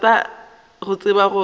rata go tseba gore o